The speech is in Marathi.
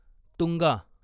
तुंगा